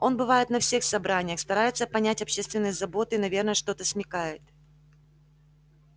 он бывает на всех собраниях старается понять общественные заботы и наверно что-то смекает